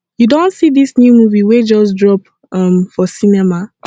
you don see this new movie wey just drop um for cinema